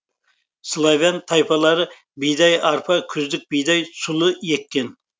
славян тайпалары бидай арпа күздік бидай сұлы еккен